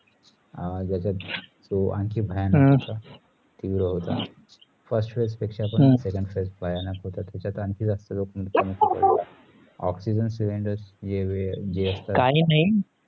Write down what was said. आह तो अनाकी भयानक होत आणि होता first phase पेक्ष second phase भयानक होत त्याचात तो अनिकी जास्त होता oxygen cylinder जे असतात